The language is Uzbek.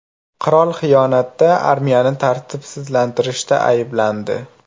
Qirol xiyonatda, armiyani tartibsizlanstirishda ayblandi.